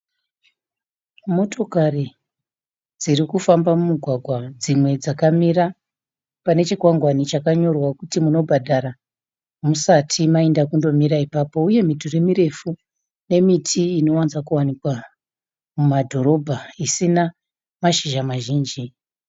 Motokari dziri kufamba mumugwagwa. Dzimwe dzakamira pane chikwangwani chakanyorwa kuti munobhadhara musati mainda kundomira ipapo uye midhuri mirefu nemiti inowanzokuwanikwa mumadhorobha isina mashizha mazhinji.